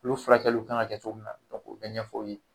Ulu furakɛliw kan ka kɛ cogo min na k'u bɛɛ ɲɛfɔ o ye.